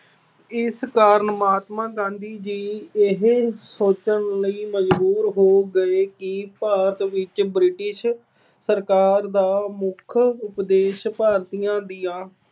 ਇਸ ਕਾਰਨ ਮਹਾਤਮਾ ਗਾਂਧੀ ਜੀ ਇਹ ਸੋਚਣ ਲਈ ਮਜਬੂਰ ਹੋ ਗਏ ਕਿ ਭਾਰਤ ਵਿੱਚ British ਸਰਕਾਰ ਦਾ ਮੁੱਖ ਉਦੇਸ਼ ਭਾਰਤੀਆਂ ਦਾ